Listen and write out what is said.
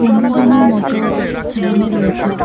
পনেরো জনের মতো ছেলেমেয়ে রয়েছে।